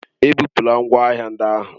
Ebupula ngwa ahịa ndị ahụ.